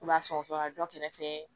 I b'a sɔgɔsɔgɔ kɛrɛfɛ